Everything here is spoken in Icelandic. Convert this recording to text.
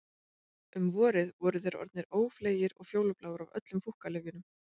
Um vorið voru þeir orðnir ófleygir og fjólubláir af öllum fúkkalyfjunum